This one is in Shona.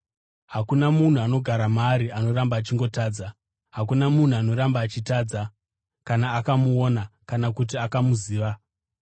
Hakuna munhu anogara maari anoramba achingotadza. Hakuna munhu anoramba achitadza, kana akamuona kana kuti akamuziva.